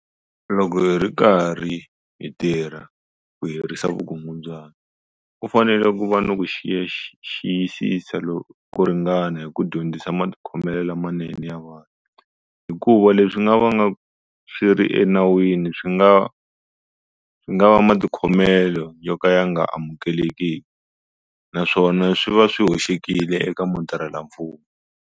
Loko hi ri karhi hi tirha ku herisa vukungundwani, ku fanele ku va ni ku xiyisisa ko ringana hi ku dyondzisa matikhomelo lamanene ya vumunhu, hikuva leswi nga vanga swi ri enawini swi nga va matikhomelo yo ka ya nga amukeleki naswona swi va swi hoxekile eka mutirhelamfumo.